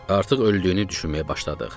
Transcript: Artıq öldüyünü düşünməyə başladıq.